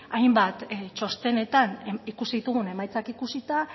hainbat txostenetan ikusi ditugun emaitzak ikusita